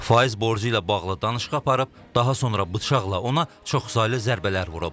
Faiz borcu ilə bağlı danışıq aparıb, daha sonra bıçaqla ona çoxsaylı zərbələr vurub.